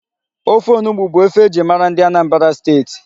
Ofe onugbu bụ ofe e ji mara ndị Anambra Steeti.